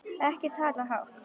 Ekki tala hátt!